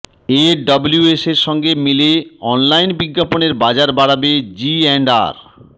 এডব্লিউএসের সঙ্গে মিলে অনলাইন বিজ্ঞাপনের বাজার বাড়াবে জি অ্যান্ড আর